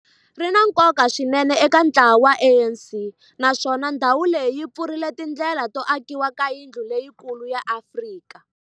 ri na nkoka swinene eka ntlawa wa ANC, naswona ndhawu leyi yi pfurile tindlela to akiwa ka yindlu leyikulu ya Afrika